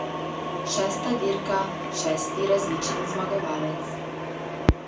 Šesta dirka, šesti različen zmagovalec.